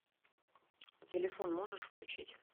телефон можешь включить